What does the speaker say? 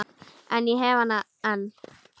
En ég hef hana enn.